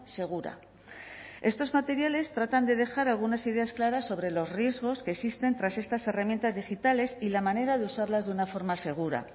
segura estos materiales tratan de dejar algunas ideas claras sobre los riesgos que existen tras estas herramientas digitales y la manera de usarlas de una forma segura